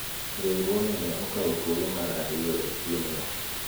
riwruogni ne okawo thuolo mar ariyo e piem no